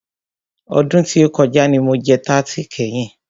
Ọdún tí o kọjá ní mo jẹ tarti kẹ́yin.